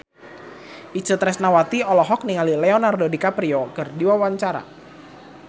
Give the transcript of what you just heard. Itje Tresnawati olohok ningali Leonardo DiCaprio keur diwawancara